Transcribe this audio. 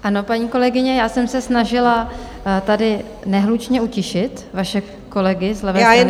Ano, paní kolegyně, já jsem se snažila tady nehlučně utišit vaše kolegy z levé strany sálu.